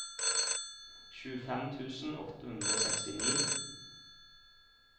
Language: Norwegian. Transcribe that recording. tjuefem tusen åtte hundre og sekstini